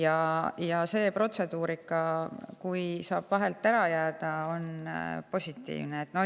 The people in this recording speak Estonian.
Kui see protseduurika saab sealt vahelt ära jääda, on see positiivne.